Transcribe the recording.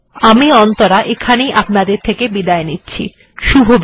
CDEP IIT Bombay এর পক্ষ থেকে আমি অন্তরা আপনাদের থেকে এখানেই বিদায় নিচ্ছি